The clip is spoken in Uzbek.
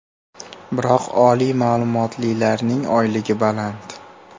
Biroq oliy ma’lumotlilarning oyligi baland.